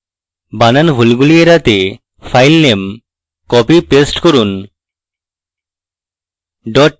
বানান ভুলগুলি এড়াতে filename copypaste করব